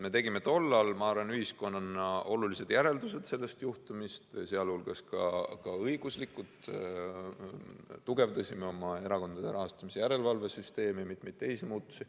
Me tegime tol ajal, ma arvan, ühiskonnana sellest juhtumist olulised järeldused, sh õiguslikud, me tugevdasime erakondade rahastamise järelevalve süsteemi, tegime mitmeid teisi muutusi.